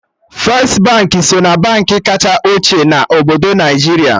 Firstị Baankị so na Baankị kacha ochie na obodo Naijiria